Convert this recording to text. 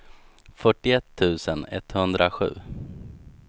fyrtioett tusen etthundrasju